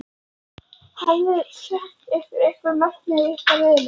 Hafiði sett ykkur einhver markmið í ykkar riðli?